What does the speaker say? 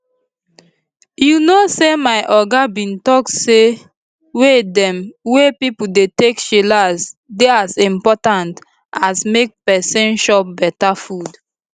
you know say my oga bin talk say way dem wey pipo dey take chillax dey as impotant as make peson chop beta food